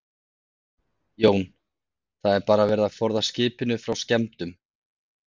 Jón: Það er bara verið að forða skipinu frá skemmdum?